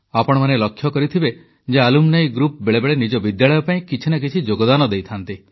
ଆପଣମାନେ ଲକ୍ଷ୍ୟ କରିଥିବେ ଯେ ଆଲୁମ୍ନି ଗ୍ରୁପ୍ ବେଳେବେଳେ ନିଜ ବିଦ୍ୟାଳୟ ପାଇଁ କିଛି ନା କିଛି ଯୋଗଦାନ ଦେଇଥାନ୍ତି